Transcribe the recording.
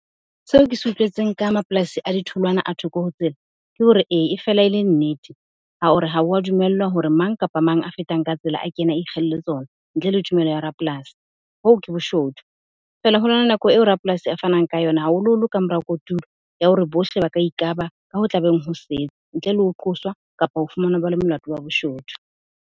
Seo ke se utlwetseng ka mapolasing a ditholwana a thoko ho tsela. Ke hore ee, e fela ele nnete ha o re ha wa dumellwa hore mang kapa mang a fetang ka tsela a kene a ikgelle tsona ntle le tumelo ya rapolasi. Hoo ke boshodu, fela hona le nako eo rapolasi a fanang ka yona, haholoholo ka mora kotulo. Ya hore bohle ba ka ikaba ka ho tla beng ho setse ntle le ho qoswa kapa ho fumanwa ba le molato wa boshodu.